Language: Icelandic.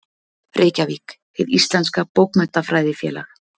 Reykjavík: Hið íslenska bókmenntafélag, lærdómsrit.